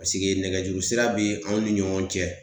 Paseke nɛgɛjuru sira be anw ni ɲɔgɔn cɛ